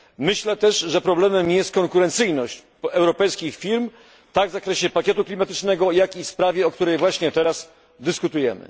Myślę też, że problemem jest konkurencyjność europejskich firm, tak w zakresie pakietu klimatycznego, jak i sprawie, o której właśnie teraz dyskutujemy.